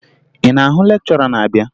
Ị na-ahụ lekchọra na-abịa?